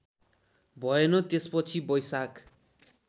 भएन त्यसपछि बैशाख